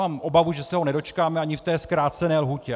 Mám obavu, že se ho nedočkáme ani v té zkrácené lhůtě.